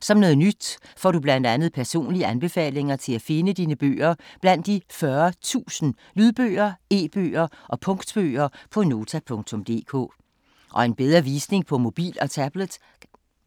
Som noget nyt får du blandt andet personlige anbefalinger til at finde dine bøger blandt de 40.000 lydbøger, e-bøger og punktbøger på Nota.dk. Og en bedre visning på mobil og tablet.